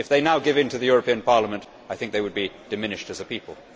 If they now give in to the European Parliament, I think they would be diminished as a people.